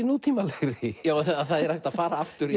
nútímalegri það er hægt að fara aftur